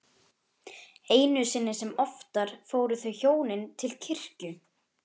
Einu sinni sem oftar fóru þau hjónin til kirkju.